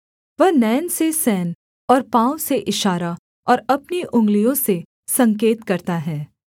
वह नैन से सैन और पाँव से इशारा और अपनी अंगुलियों से संकेत करता है